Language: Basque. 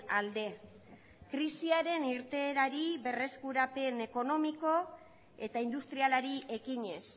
alde krisiaren irteerari berreskurapen ekonomiko eta industrialari ekinez